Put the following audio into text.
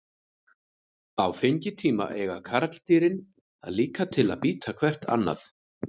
Á fengitíma eiga karldýrin það líka til að bíta hvert annað.